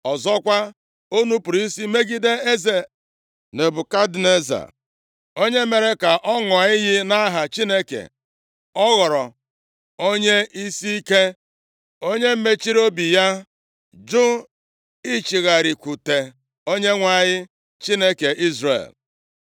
Ọzọkwa, o nupuru isi megide eze Nebukadneza, onye mere ka ọ ṅụọ iyi nʼaha Chineke. Ọ ghọrọ onye isiike, onye mechiri obi ya, jụ ichigharịkwute Onyenwe anyị, Chineke Izrel.